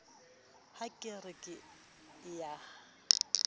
ha ke re ke a